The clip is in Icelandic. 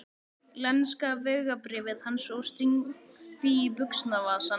lenska vegabréfið hans og sting því í buxnavasann.